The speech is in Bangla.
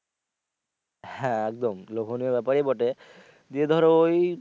হ্যা একদম লোভনীয় ব্যাপারই বটে গিয়ে ধরো ওই।